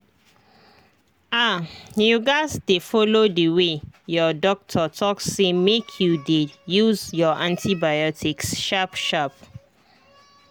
ahyou gats dey follow the way your doctor talk say make you dey use your antibiotics sharp sharp